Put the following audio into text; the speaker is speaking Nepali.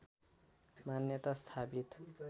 मान्यता स्थापित